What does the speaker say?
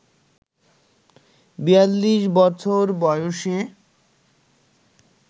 ৪২ বছর বয়সে